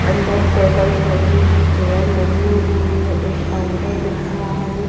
अंदर टेबल्स लगी हैं चेयर लगी हुई हैं एक काउंटर दिख रहा है।